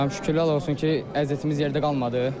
Şükürlər olsun ki, əziyyətimiz yerdə qalmadı.